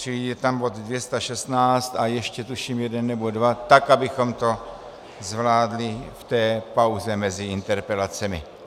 Čili je tam bod 216 a ještě tuším jeden nebo dva, tak abychom to zvládli v té pauze mezi interpelacemi.